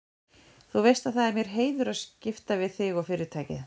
Þú veist að það er mér heiður að skipta við þig og Fyrirtækið.